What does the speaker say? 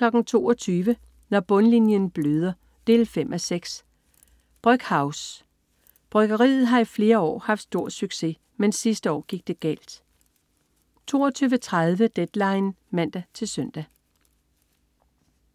22.00 Når bundlinjen bløder 5:6. "Brøckhouse". Bryggeriet har i flere år haft stor succes. Men sidste år gik det galt 22.30 Deadline (man-søn)